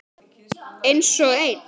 Einsog ein.